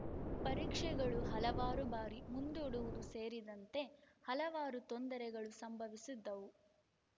ಪರೀಕ್ಷೆಗಳು ಹಲವಾರು ಬಾರಿ ಮುಂದೂಡುವುದು ಸೇರಿದಂತೆ ಹಲವಾರು ತೊಂದರೆಗಳು ಸಂಭವಿಸಿದ್ದವು